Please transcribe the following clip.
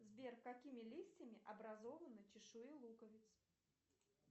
сбер какими листьями образованы чешуи луковиц